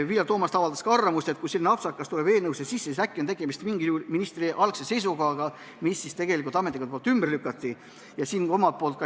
Vilja Toomast avaldas ka arvamust, et kui selline apsakas tuleb eelnõusse sisse, siis äkki oli tegemist ministri algse seisukohaga, mille ametnikud ümber lükkasid.